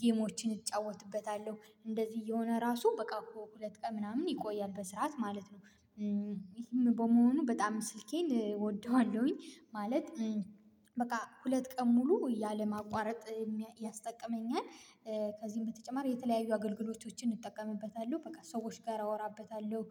ጌሞችን እጫወትበታለሁ እንደዚህ የሆነ ራሱ በቃ እኮ ሁለት ቀን ምናምን ይቆያል በስርዓት ማለት ነው። ይሄም በመሆኑ በጣም ስልኬን እወደዋለሁኝ ማለት በቃ ሁለት ቀን ሙሉ ያለ ማቋረጥ ያስጠቅመኛል። ከዚህም በተጨማሪ የተለያዩ አገልግሎቶችን እጠቀምበታለሁ በቃ ሰዎች ጋር አወራበታለሁ